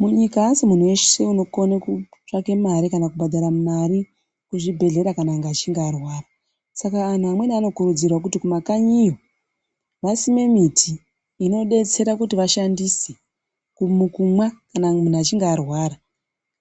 Mu nyika asi munhu weshe unokone kutsvake mari kana kubhadhara mari mu zvibhedhlera kana achinge arwara saka anhu amweni ano kurudzirwa kuti kuma kanyiyo vasime miti ino detsera kuti vashandise kumwa kana munhu achinge arwara